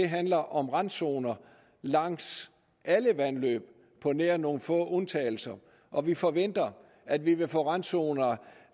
handler om randzoner langs alle vandløb på nær nogle få undtagelser og vi forventer at vi vil få randzoner